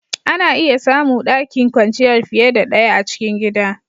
Ana iya samu ɗakin kwanciyar fiye da ɗaya a cikin gida.